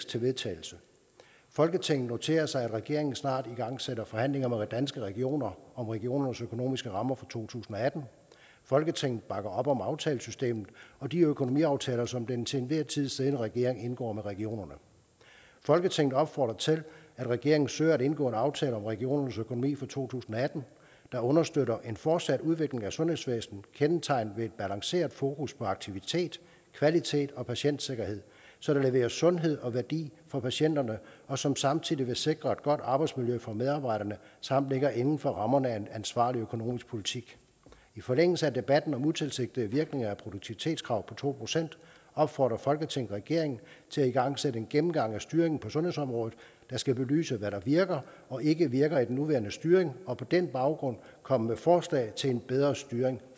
til vedtagelse folketinget noterer sig at regeringen snart igangsætter forhandlinger med danske regioner om regionernes økonomiske rammer for to tusind og atten folketinget bakker op om aftalesystemet og de økonomiaftaler som den til enhver tid siddende regering indgår med regionerne folketinget opfordrer til at regeringen søger at indgå en aftale om regionernes økonomi for to tusind og atten der understøtter en fortsat udvikling af sundhedsvæsenet kendetegnet ved et balanceret fokus på aktivitet kvalitet og patientsikkerhed så der leveres sundhed og værdi for patienterne og som samtidig vil sikre et godt arbejdsmiljø for medarbejderne samt ligger inden for rammerne af en ansvarlig økonomisk politik i forlængelse af debatten om utilsigtede virkninger af produktivitetskravet på to procent opfordrer folketinget regeringen til at igangsætte en gennemgang af styringen på sundhedsområdet der skal belyse hvad der virker og ikke virker i den nuværende styring og på den baggrund komme med forslag til en bedre styring